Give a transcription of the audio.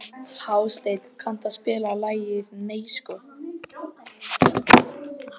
Hásteinn, kanntu að spila lagið „Nei sko“?